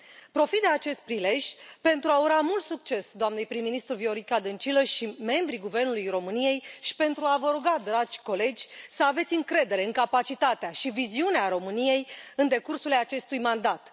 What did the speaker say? Profit de acest prilej pentru a ura mult succes doamnei prim ministru Viorica Dăncilă și membrilor Guvernului României și pentru a vă ruga, dragi colegi, să aveți încredere în capacitatea și viziunea României în decursul acestui mandat.